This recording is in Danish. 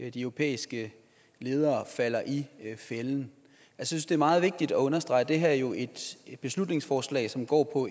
og de europæiske ledere falder i fælden jeg synes det er meget vigtigt at understrege at det her jo er et beslutningsforslag som går på